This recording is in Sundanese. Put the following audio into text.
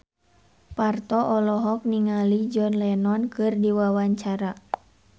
Parto olohok ningali John Lennon keur diwawancara